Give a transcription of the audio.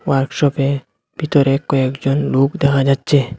ওয়ার্কশপে ভেতরে কয়েকজন লোক দেখা যাচ্ছে।